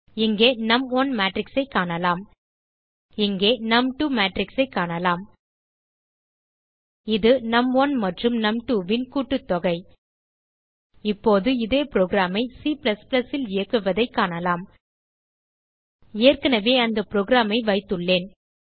இங்கே நும்1 மேட்ரிக்ஸ் ஐ காணலாம் இங்கே நும்2 matrixஐ காணலாம் இது நும்1 மற்றும் num2ன் கூட்டத்தொகை இப்போது இதே புரோகிராம் ஐ Cல் இயக்குவதைக் காணலாம் ஏற்கனவே அந்த programஐ வைத்துள்ளேன்